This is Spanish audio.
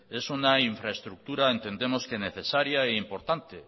es una infraestructura entendemos que necesaria e importante